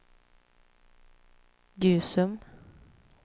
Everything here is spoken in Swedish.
Gusum